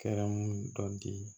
Kɛrɛmu dɔ di